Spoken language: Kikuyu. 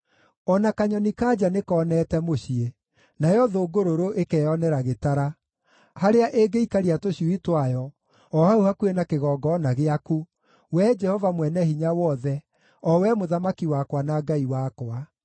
O na kanyoni-ka-nja nĩkoonete mũciĩ, nayo thũngũrũrũ ĩkeyonera gĩtara, harĩa ĩngĩikaria tũcui twayo, o hau hakuhĩ na kĩgongona gĩaku, Wee Jehova Mwene-Hinya-Wothe, o Wee Mũthamaki wakwa na Ngai wakwa.